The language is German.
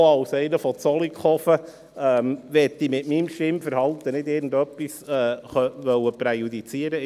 Als Einwohner von Zollikofen möchte ich mit meinem Stimmverhalten nicht etwas präjudizieren.